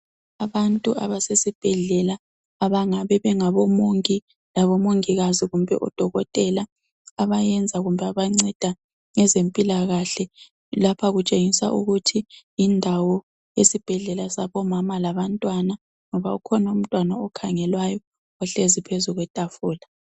Abantu abasesibhedlela, abangabe bengabomongi labomongikazi kumbe odokotela, abayenza kumbe abanceda ngezempilakahle. Lapha kutshengisa ukuthi yindawo yesibhedlela sabomama labantwana, ngoba ukhona umntwana okhangelwayo ohlezi phezu kwetafula.